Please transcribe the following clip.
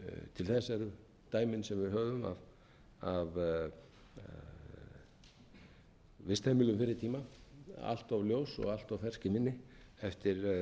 til þess eru dæmin sem við höfum af vistheimilum fyrri tíma allt of ljós og allt of fersk í minni eftir